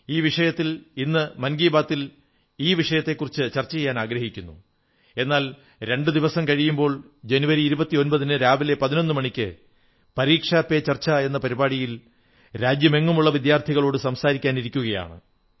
ഈ വിഷയത്തിൽ ഇന്ന് മൻ കീ ബാത്തിൽ ഈ വിഷയത്തെക്കുറിച്ച് ചർച്ച ചെയ്യാനാഗ്രഹിക്കുമായിരുന്നു എന്നാൽ രണ്ടു ദിവസത്തിനപ്പുറം ജനുവരി 29 ന് രാവിലെ 11 മണിക്ക് പരീക്ഷാ പേ ചർച്ച എന്ന പരിപാടിയിൽ രാജ്യമെങ്ങുമുള്ള വിദ്യാർഥികളോട് സംസാരിക്കാനിരിക്കയാണ്